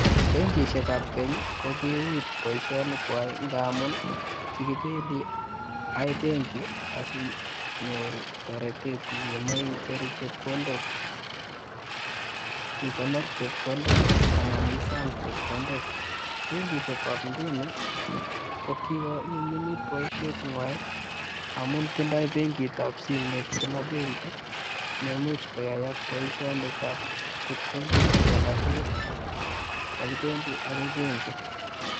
Benkishek ab keny kokiui boishonik kwak ngamun kikibendii akoi benki asinyoru toretet nkimoi icheru chepkondok, ikonor chepkondok anan isom chepkondok, benkishek ab inguni kokikonyumyumit boishet nywan amun tindoi benkit ab simoit kila benki ne imuch koyaak boishoinik ab chepkondok kou alak tukul mokibendii akoi benki.